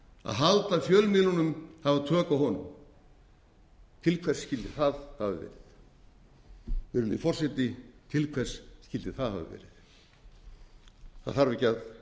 að halda fjölmiðlinum hafa tök á honum til hvers skyldi það hafa verið virðulegi forseti til hvers skyldi það hafa verið það þarf ekki að